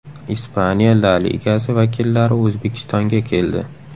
Ispaniya La Ligasi vakillari O‘zbekistonga keldi.